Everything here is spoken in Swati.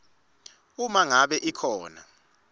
uma ngabe ikhona